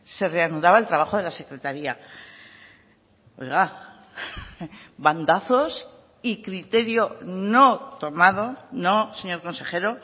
se reanudaba el trabajo de la secretaría oiga bandazos y criterio no tomado no señor consejero